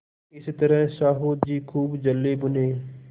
इस तरह साहु जी खूब जलेभुने